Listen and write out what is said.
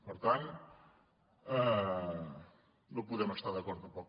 per tant no hi podem estar d’acord tampoc